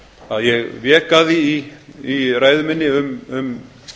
að ég vék að því í ræðu minni um